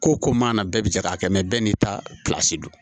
Ko ko man na bɛɛ bi se k'a kɛ bɛɛ n'i ta don